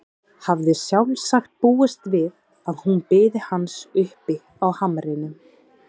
Hafði sjálfsagt búist við að hún biði hans uppi á hamrinum.